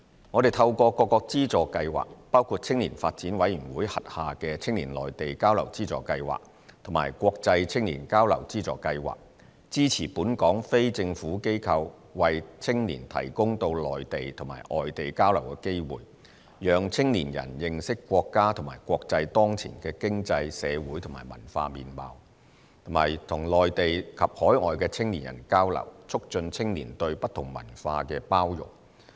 我們透過各個資助計劃，包括青年發展委員會轄下的"青年內地交流資助計劃"及"國際青年交流資助計劃"，支持本港非政府機構為青年提供到內地及外地交流的機會，讓青年人認識國家和國際當前的經濟、社會和文化面貌，以及與內地及海外的青年人交流，促進青年對不同文化的包容。